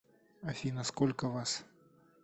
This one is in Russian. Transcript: афина сколько вас